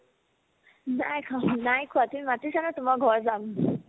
নাই খোৱা নাই খোৱা তুমি মাতিছা নহয় তোমাৰ ঘৰত যাম